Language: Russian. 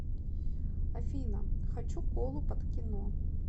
афина хочу колу под кино